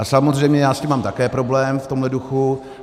A samozřejmě já s tím mám také problém v tomhle duchu.